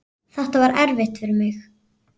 Þetta var erfitt fyrir mig.